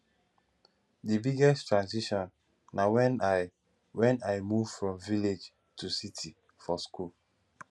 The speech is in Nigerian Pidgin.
di biggest transition na when i when i move from village to city for school